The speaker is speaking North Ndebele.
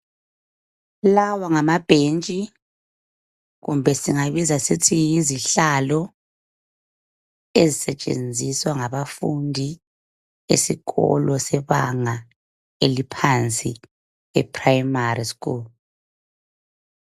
Lawa ngamabhentshi kumbe singabiza sithi yizihlalo ezisetshenziswa ngabafundi esikolo sebanga eliphansi eprimary school.